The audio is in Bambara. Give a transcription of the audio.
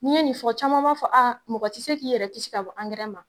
N 'i ye nin fɔ caman b'a fɔ aa mɔgɔ tɛ se k'i yɛrɛ kisi ka bɔ ankɛrɛ man!